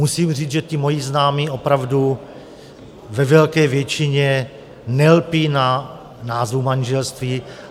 Musím říct, že ti moji známí opravdu ve velké většině nelpí na názvu manželství.